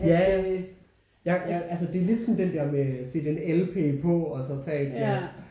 Ja ja altså det er lidt sådan den der med sætte en lp på og så tage et glas